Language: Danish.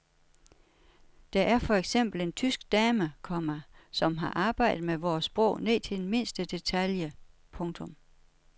Der er for eksempel en tysk dame, komma som har arbejdet med vores sprog ned til den mindste detalje. punktum